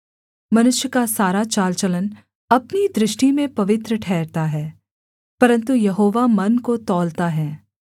मनुष्य का सारा चाल चलन अपनी दृष्टि में पवित्र ठहरता है परन्तु यहोवा मन को तौलता है